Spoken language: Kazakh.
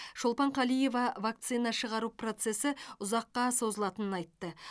шолпан қалиева вакцина шығару процесі ұзаққа созылатынын айтты